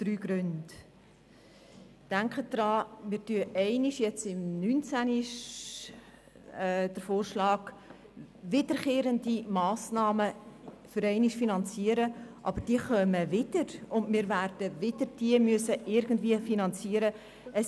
Denken Sie daran: Wenn wir es jetzt einmal im Jahr 2019 wie vorgeschlagen machen, indem wir wiederkehrende Massnahmen einmal finanzieren, dann kommen diese wieder, und wir werden sie wieder irgendwie finanzieren müssen.